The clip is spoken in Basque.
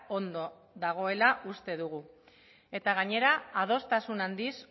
ondo dagoela uste dugu gainera adostasun handiz